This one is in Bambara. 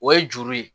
O ye juru ye